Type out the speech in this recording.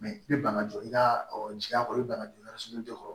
i bɛ bana jɔ i ka jaa kɔnɔ i banana dɔrɔn sugunɛ tɛ sɔrɔ